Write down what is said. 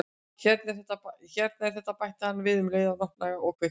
Hérna er þetta- bætti hann við um leið og hann opnaði og kveikti.